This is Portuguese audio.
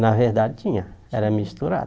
Na verdade tinha, era misturado.